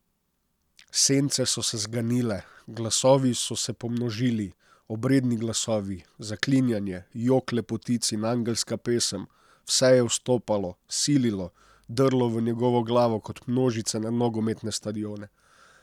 Sence so se zganile, glasovi so se pomnožili, obredni glasovi, zaklinjanje, jok lepotic in angelska pesem, vse je vstopalo, sililo, drlo v njegovo glavo kot množice na nogometne stadione.